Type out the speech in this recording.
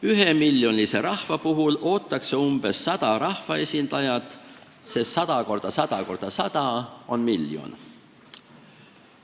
Ühemiljonilise rahva puhul ootaks umbes sada rahvaesindajat, sest 100 × 100 × 100 on miljon.